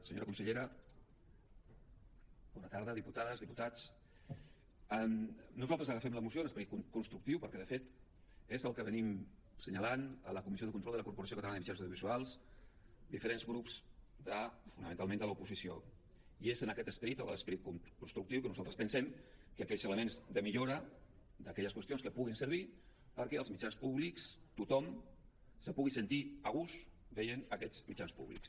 senyora consellera bona tarda diputades diputats nosaltres agafem la moció amb esperit constructiu perquè de fet és el que assenyalem a la comissió de control de la corporació catalana de mitjans audiovisuals diferents grups fonamentalment de l’oposició i és amb aquest esperit l’esperit constructiu que nosaltres pensem que aquells elements de millora d’aquelles qüestions que puguin servir perquè als mitjans públics tothom es pugui sentir a gust veient aquests mitjans públics